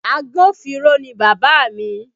Agbófinró ni Bàbá mi